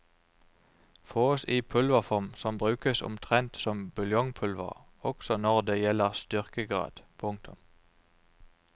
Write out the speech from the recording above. Fåes i pulverform som brukes omtrent som buljongpulver også når det gjelder styrkegrad. punktum